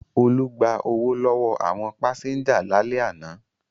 Olú gba owó lọ́wọ́ àwọn pásẹ́ńjà lálẹ́ àná.